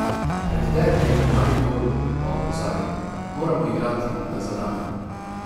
Pred derbijem v Mariboru pa opozarja: "Moramo igrati, da zadenemo.